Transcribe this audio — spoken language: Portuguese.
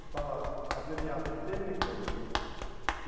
Estava abreviado Tê - mecânico.